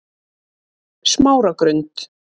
Smáragrund